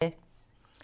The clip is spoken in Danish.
DR1